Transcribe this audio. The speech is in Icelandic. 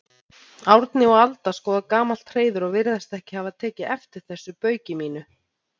Árni og Alda skoða gamalt hreiður og virðast ekki hafa tekið eftir þessu bauki mínu.